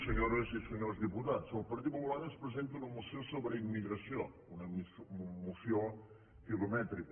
senyores i senyors diputats el partit popular ens presenta una moció so·bre immigració una moció quilomètrica